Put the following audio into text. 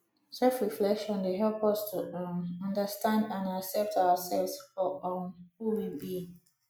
selfreflection dey help us to um understand and accept ourselves for um who we be